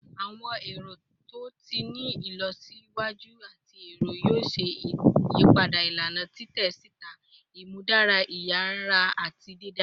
Awọn ẹrọ to ti ni ilọsiwaju ati ẹrọ yoo ṣe iyipada ilana titẹ sita, imudara iyara ati didara